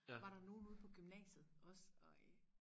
var der nogen ude på gymnasiet også og øh